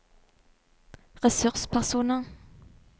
ressurspersoner